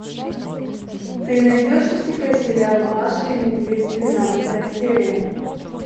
ты найдешь у себя сериал маша и медведь двенадцатая серия